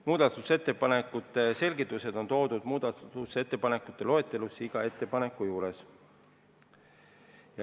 Muudatusettepanekute selgitused on esitatud muudatusettepanekute loetelus vastava ettepaneku juures.